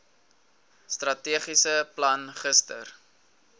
strategiese plan gister